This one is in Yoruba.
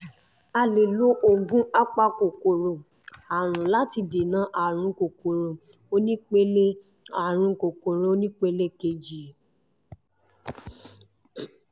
a lè lo oògùn apakòkòrò àrùn láti dènà àrùn kòkòrò onípele àrùn kòkòrò onípele kejì